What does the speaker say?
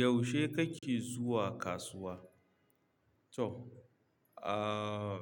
Yaushe kake zuwa kasuwa? To, ah,